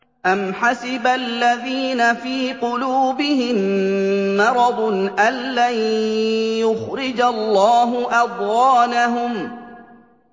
أَمْ حَسِبَ الَّذِينَ فِي قُلُوبِهِم مَّرَضٌ أَن لَّن يُخْرِجَ اللَّهُ أَضْغَانَهُمْ